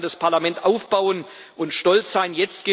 Darauf kann das Parlament aufbauen und stolz sein.